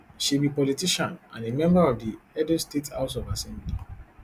she be politician and a member of di edo state house of assembly